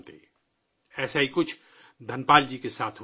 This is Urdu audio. دھن پال جی کے ساتھ بھی کچھ ایسا ہی ہوا